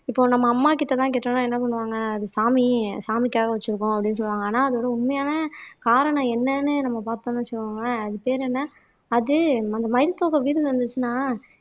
இப்போ நம்ம அம்மா கிட்ட தான் கேட்டோம்னா என்ன பண்ணுவாங்க அது சாமி சாமிக்காக வச்சிருக்கோம் அப்படீன்னு சொல்லுவாங்க ஆனா அது ஒரு உண்மையான காரணம் என்னன்னு நம்ம பார்த்தோம்ன்னு வச்சுக்கோங்களேன் அது பேர் என்ன அது அந்த மயில் தோகை வீட்ல இருந்துச்சுன்னா